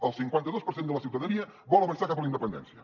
el cinquanta dos per cent de la ciutadania vol avançar cap a la independència